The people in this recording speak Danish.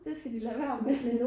Det skal de lad vær med